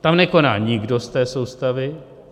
Tam nekoná nikdo z té soustavy.